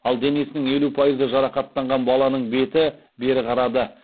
ал денесінің елу пайызы жарақаттанған баланың беті бері қарады